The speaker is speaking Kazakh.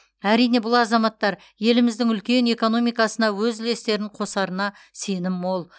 әрине бұл азаматтар еліміздің үлкен экономикасына өз үлестерін қосарына сенім мол